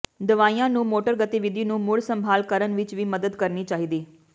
ਦਵਾਈਆਂ ਨੂੰ ਮੋਟਰ ਗਤੀਵਿਧੀ ਨੂੰ ਮੁੜ ਸੰਭਾਲ ਕਰਨ ਵਿੱਚ ਵੀ ਮਦਦ ਕਰਨੀ ਚਾਹੀਦੀ